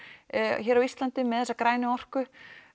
hér á Íslandi með þessa grænu orku